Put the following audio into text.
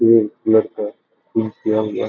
एक लड़का किया गया।